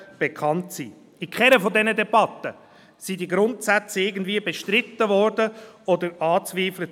In keiner dieser Debatten wurden diese Grundsätze irgendwie bestritten oder angezweifelt.